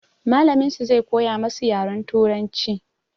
Mallamin su zai koya masu yaren turanci.